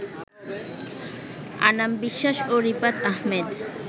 আনাম বিশ্বাস ও রিফাত আহমেদ